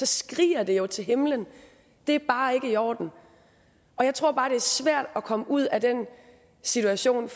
skriger jo til himlen det er bare ikke i orden og jeg tror bare at det er svært at komme ud af den situation